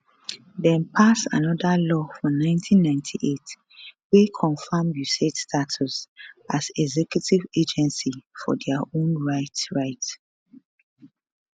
dem pass anoda law for 1998 wey confam usaid status as executive agency for dia own right right